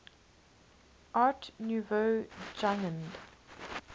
art nouveau jugend